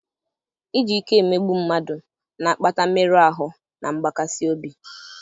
iji ike emegbu mmadụ na-akpata mmerụ ahụ na mgbakasị obi.